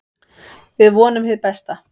Við vonum hið besta.